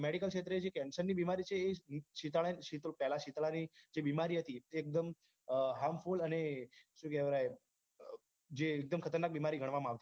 medical ક્ષેત્રે જે cancer ની બીમારી છે એ સીતાડા ની પહલા જે સીતળા ની જે બીમારી હતી એ એકદમ harmful અને શું કહવાય જે એક દમ ખતરનાક બીમારી ગણવામાં આવતી હતી